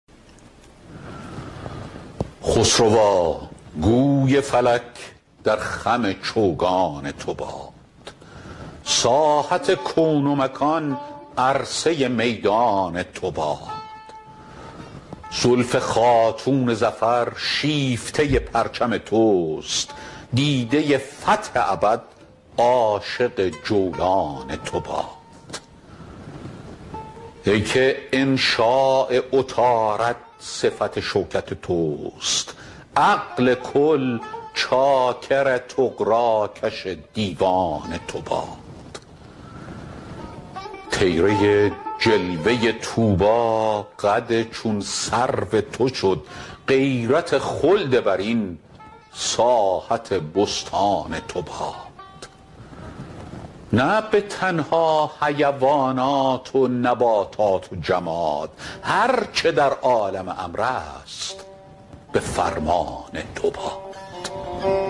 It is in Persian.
خسروا گوی فلک در خم چوگان تو باد ساحت کون و مکان عرصه میدان تو باد زلف خاتون ظفر شیفته پرچم توست دیده فتح ابد عاشق جولان تو باد ای که انشاء عطارد صفت شوکت توست عقل کل چاکر طغراکش دیوان تو باد طیره جلوه طوبی قد چون سرو تو شد غیرت خلد برین ساحت بستان تو باد نه به تنها حیوانات و نباتات و جماد هر چه در عالم امر است به فرمان تو باد